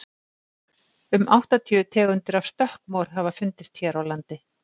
um áttatíu tegundir af stökkmor hafa fundist hér á landi